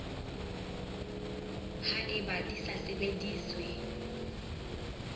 ha eba di sa sebediswe